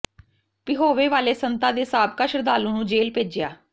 ਪਿਹੋਵੇ ਵਾਲੇ ਸੰਤਾਂ ਦੇ ਸਾਬਕਾ ਸ਼ਰਧਾਲੂ ਨੂੰ ਜੇਲ੍ਹ ਭੇਜਿਆ